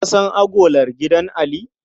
Ka san agolar gidan Ali?